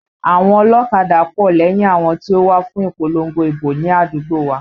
Àwọn ọlọ́kadà pọ̀ lẹ́yìn àwọn tí ó wá fún ìpolongo ìbò ní àdúgbò wa